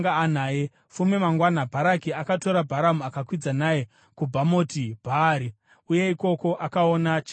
Fume mangwana, Bharaki akatora Bharamu akakwidza naye kuBhamoti Bhaari, uye ikoko akaona chikamu chavanhu.